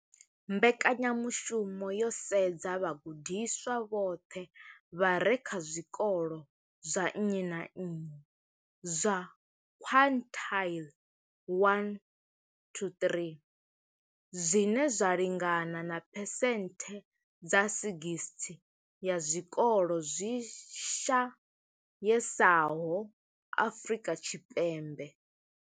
Mbekanyamushumo yo sedza vhagudiswa vhoṱhe vha re kha zwikolo zwa nnyi na nnyi zwa quintile 1 to 3, zwine zwa lingana na phesenthe dza 60 ya zwikolo zwi shayesaho Afrika Tshipembe.